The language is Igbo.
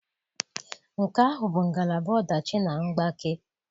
Nke ahụ bụ ngalaba ọdachi na mgbake.